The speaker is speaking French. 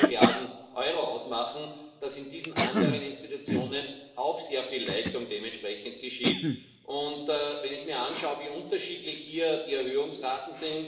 progrès. Mais vous devez savoir qu'en dépit de ce progrès, Erasmus suscite des frustrations, car pratiquement une demande recevable sur deux est écartée chaque